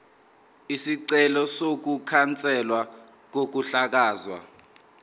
isicelo sokukhanselwa kokuhlakazwa